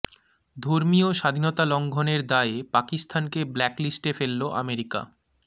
ধর্মীয় স্বাধীনতা লঙ্ঘনের দায়ে পাকিস্তানকে ব্ল্যাক লিস্টে ফেলল আমেরিকা